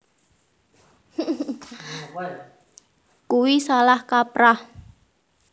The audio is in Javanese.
Kuwi salah kaprah